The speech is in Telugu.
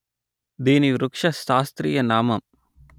దీని వృక్ష శాస్త్రీయ నామం